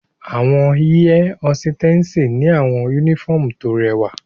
Awọn air hositessi ni awọn unifọmú to rẹwa